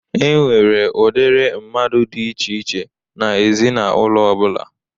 E nwere udiri mmadụ dị iche iche n'ezinaụlọ ọbụla.